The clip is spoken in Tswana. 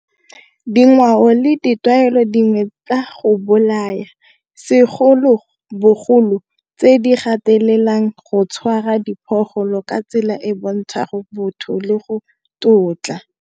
Dingwao le ditlwaelo dingwe tsa go bolaya segolobogolo tse di gatelelang go tshwara diphologolo ka tsela e bontsha botho le go tlotla.